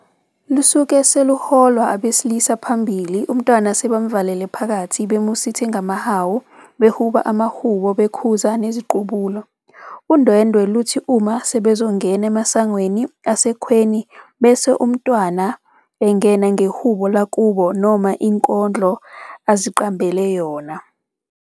Lusuke luholwa abesilisa phambili umntwana sebemuvalele phakathi bemusithe ngamahawu behuba amahubo bekhuza neziqubulo. Udwendwe luthi uma sebezongena emasangweni asekhweni bese umntwana engena ngehubo lakubo noma inkondlo aziqambele yona.